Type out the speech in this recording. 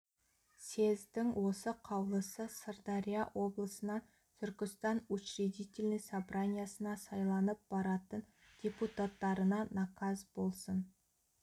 съездің осы қаулысы сырдария облысынан түркістан учредительный собраниясына сайланып баратын депутаттарына наказ болсын